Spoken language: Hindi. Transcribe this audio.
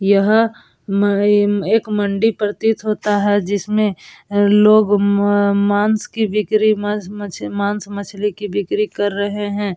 यह एक मंडी प्रतीत होता है जिसमे लोग मांश की बिक्री म म मांश मछली मांश मछली की बिक्री कर रहे हैं।